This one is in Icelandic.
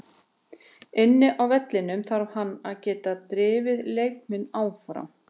Inni á vellinum þarf hann að geta drifið leikmenn áfram.